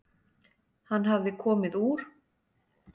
Hann hafði komið úr